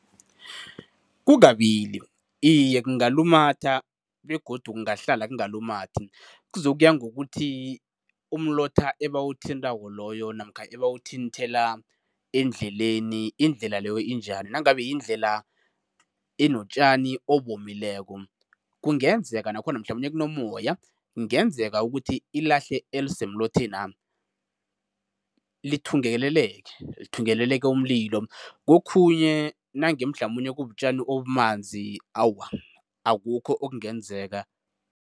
Kukabili. Iye, kungalumatha begodu kungahlala kungalumathi. Kuzokuya ngokuthi umlotha ebawuthintako loyo namkha ebawuthinthela endleleni, indlela leyo injani. Nangabe yindlela enotjani obomileko, kungenzeka nakhona mhlamunye kunomoya, kungenzeka ukuthi ilahle elisemlothena, lithungeleleke, lithungeleleke umlilo. Kokhunye nange mhlamunye kubutjani obumanzi, awa, akukho okungenzeka.